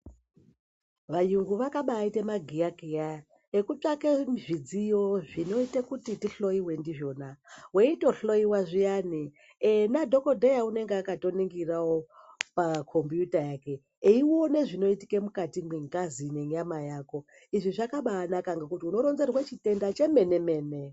Vayungu vakabaite magiyakiya ekutsvake zvidziyo zvinoite kuti tihloiwe ndizvona. Veitohloiwa zviyani ena dhogodheya unenga akatoningiravo pakombiyuta yake. Eione zvinoitika mukati mwengazi nenyama yako izvi zvakabanaka ngekuti unoronzerwe chitenda chemene-mene.